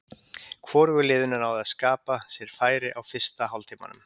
Hvorugu liðinu náði að skapa sér færi á fyrsta hálftímanum.